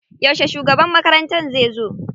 Yauce shugaban makarantar zai zo?